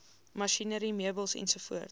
masjinerie meubels ens